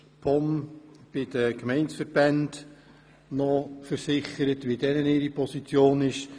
Die POM hat sich noch bei den Gemeindeverbänden bezüglich deren Position versichert.